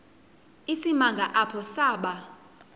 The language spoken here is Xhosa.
isimanga apho saba